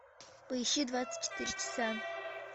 поищи двадцать четыре часа